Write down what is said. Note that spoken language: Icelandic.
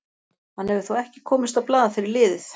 Hann hefur þó ekki komist á blað fyrir liðið.